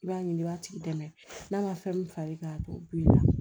I b'a ɲini i b'a tigi dɛmɛ n'a ma fɛn min far'i kan a b'o bil'i la